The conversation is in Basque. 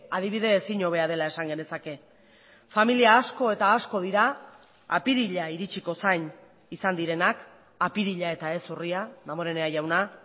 adibide ezin hobea dela esan genezake familia asko eta asko dira apirila iritsiko zain izan direnak apirila eta ez urria damborenea jauna